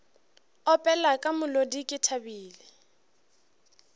opela ka molodi ke thabile